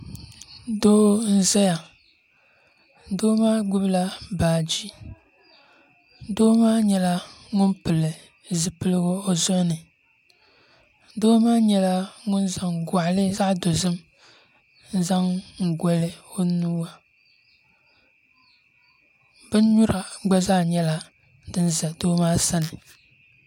Doo n ʒɛya doo maa gbubila baaji doo maa nyɛla ŋun pili zipiligu o zuɣu ni doo maa nyɛla ŋun zaŋ goɣali zaɣ dozim n zaŋ goli o nuu bin nyura gba zaa nyɛla din ʒɛ Doo maa sani